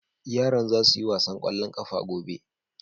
yaran za su yi wasan kwallon ƙafa gobe